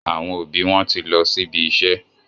àwọn òbí wón tí lọ síbi iṣẹ́